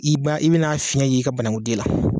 I b'a i bɛn'a fiyɛn i ka banagunden la.